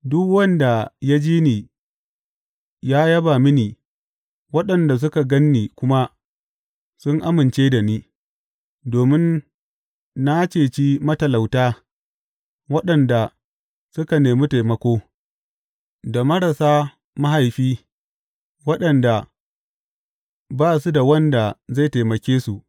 Duk wanda ya ji ni ya yaba mini waɗanda suka gan ni kuma sun amince da ni, domin na ceci matalauta waɗanda suka nemi taimako, da marasa mahaifi waɗanda ba su da wanda zai taimake su.